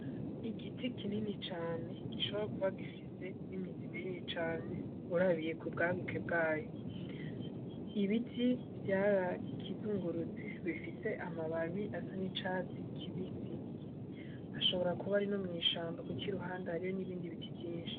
Igiti kinini cane gishobora kuva gifise n'imizima inini cane urabiye kubwaguke bwayo ibiti vyarakizungurutse bifise amababi asa ni caresi kibisi hashobora kuba arino mw'ishambo, kuko i ruhanda hariyo n'ibindi biti vyinshi.